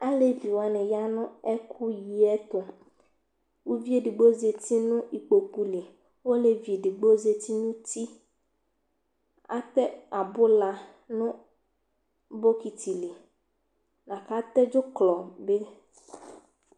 alévi wani yanu ɛku yiɛ ɛtu uvié édigbo zɛti nu ikpokpu li olévi édigbo zɛti nu uti atɛ abula nu bokiti li laka tɛ dzuklɔ bi